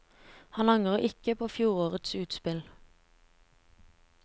Han angrer ikke på fjorårets utspill.